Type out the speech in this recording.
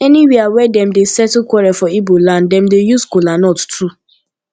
anywia wey dem dey settle quarel for igboland dem dey use kolanut too